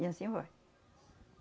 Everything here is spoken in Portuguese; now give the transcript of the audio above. E anssim vai.